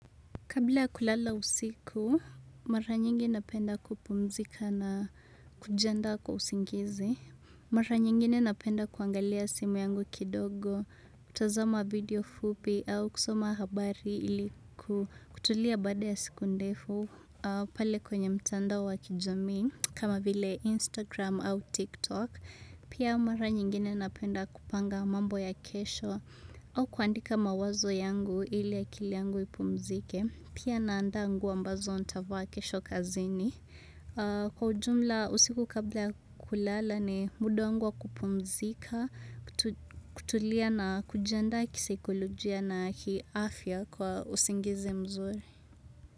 Kabla ya kulala usiku, mara nyingi napenda kupumzika na kujiandaa kwa usingizi. Mara nyingine napenda kuangalia simu yangu kidogo, kutazama video fupi au kusoma habari ili kutulia baada ya siku ndefu. Pale kwenye mtandao wa kijamii, kama vile Instagram au TikTok, pia mara nyingine napenda kupanga mambo ya kesho au kuandika mawazo yangu ili akili yangu ipumzike. Pia naandaa nguoa ambazo nitavaa kesho kazini. Kwa ujumla, usiku kabla kulala ni muda wangu wa kupumzika, kutulia na kujiandaa kisaikolojia na kiafya kwa usingizi mzuri.